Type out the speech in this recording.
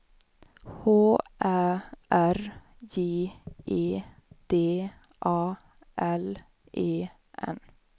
H Ä R J E D A L E N